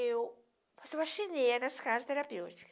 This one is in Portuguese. Eu faço faxineira nas casas terapêuticas.